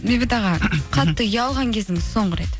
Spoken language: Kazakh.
бейбіт аға қатты ұялған кезіңіз соңғы рет